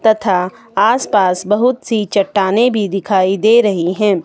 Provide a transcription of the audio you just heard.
तथा आस पास बहुत सी चट्टानें भी दिखाई दे रही हैं।